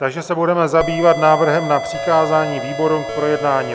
Takže se budeme zabývat návrhem na přikázání výborům k projednání.